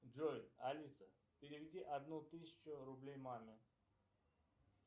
джой алиса переведи одну тысячу рублей маме